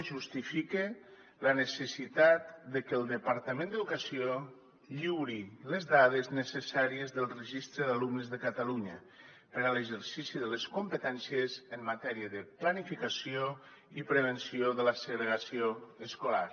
i justifica la necessitat de que el departament d’educació lliuri les dades necessàries del registre d’alumnes de catalunya per a l’exercici de les competències en matèria de planificació i prevenció de la segregació escolar